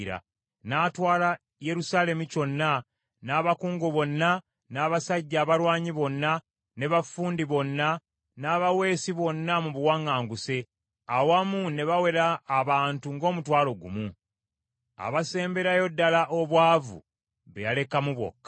N’atwala Yerusaalemi kyonna, n’abakungu bonna, n’abasajja abalwanyi bonna, ne baffundi bonna n’abaweesi bonna mu buwaŋŋanguse, awamu ne bawera abantu ng’omutwalo gumu. Abasemberayo ddala obwavu be yalekamu bokka.